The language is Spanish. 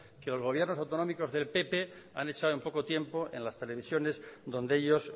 que los gobiernos autonómicos del pp han echado en poco tiempo en las televisiones donde ellos